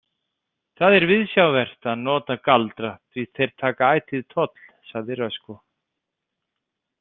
Það er viðsjárvert að nota galdra því þeir taka ætíð toll, sagði Röskva.